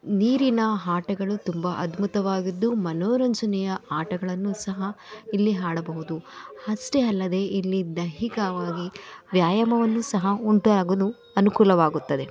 ನೀರಿನ ಆಟಗಳು ತುಂಬಾ ಅದ್ಭುತವಾಗಿದ್ದು ಮನೋರಂಜನೆಯ ಆಟಗಳನ್ನು ಸಹ ಇಲ್ಲಿ ಆಡಬಹುದು ಅಷ್ಟೇ ಅಲ್ಲದೆ ಇಲ್ಲಿ ದೈಹಿಕವಾಗಿ ವ್ಯಾಯಾಮವನ್ನು ಸಹ ಉಂಟುಆಗಲು ಅನುಕೂಲವಾಗುತ್ತದೆ.